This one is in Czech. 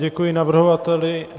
Děkuji navrhovateli.